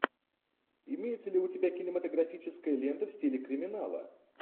имеется ли у тебя кинематографическая лента в стиле криминала